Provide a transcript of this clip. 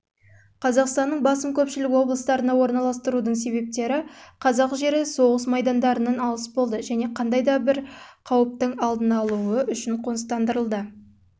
қазақстанның басым көпшілік облыстарына орналастырудың себептері қазақ жері соғыс майдандарынан алыс болды және қандай да болмасын қауіптің алдын